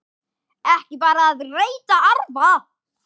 Ekki bara að reyta arfa!